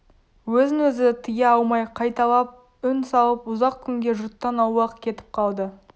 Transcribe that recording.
өзін-өзі тыя алмай қайталап үн салып ұзақ күнге жұрттан аулақ кетіп қалды